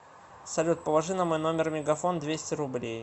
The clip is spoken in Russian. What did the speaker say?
салют положи на мой номер мегафон двести рублей